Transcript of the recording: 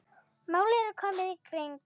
Málið er komið í hring.